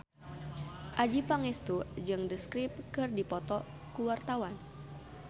Adjie Pangestu jeung The Script keur dipoto ku wartawan